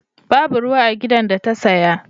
Babu ruwa a gidan da ta saya.